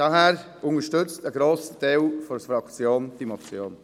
Daher unterstützt ein grosser Teil der Fraktion diese Motion.